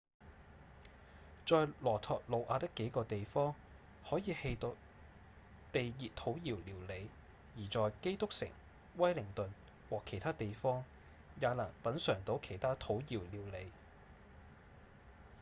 在羅托魯瓦的幾個地方可以吃到地熱土窯料理而在基督城、威靈頓和其他地方也能品嚐到其他土窯料理